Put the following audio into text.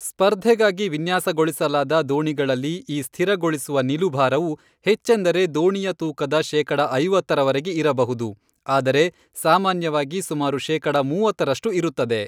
ಸ್ಪರ್ಧೆಗಾಗಿ ವಿನ್ಯಾಸಗೊಳಿಸಲಾದ ದೋಣಿಗಳಲ್ಲಿ ಈ ಸ್ಥಿರಗೊಳಿಸುವ ನಿಲುಭಾರವು, ಹೆಚ್ಚೆಂದರೆ ದೋಣಿಯ ತೂಕದ ಶೇಕಡ ಐವತ್ತರವರೆಗೆ ಇರಬಹುದು, ಆದರೆ ಸಾಮಾನ್ಯವಾಗಿ ಸುಮಾರು ಶೇಕಡ ಮೂವತ್ತರಷ್ಟು ಇರುತ್ತದೆ.